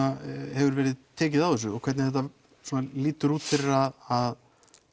hefur verið tekið á þessu og hvernig þetta lítur út fyrir að